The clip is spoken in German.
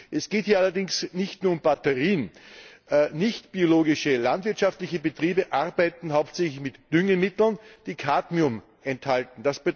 Es geht hier allerdings nicht nur um Batterien. Nichtbiologische landwirtschaftliche Betriebe arbeiten hauptsächlich mit Düngemitteln, die Cadmium enthalten.